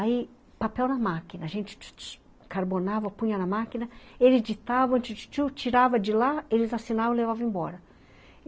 Aí, papel na máquina, a gente carbonava, punha na máquina, eles editavam, tirava de lá, eles assinavam e levavam embora.